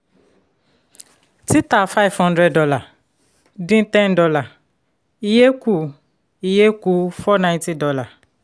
títà five hundred dollar dín ten dollar iye kù iye kù four ninety dollar